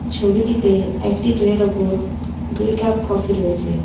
ছবিটিতে একটি ট্রের ওপর দুই কাপ কফি রয়েছে.